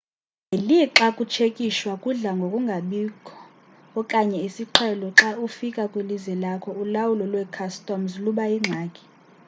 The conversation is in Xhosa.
ngelixa ukutshekishwa kudla ngokungabikho okanye isiqhelo xa ufika kwilizwe lakho ulawulo lwe-customs luba yingxaki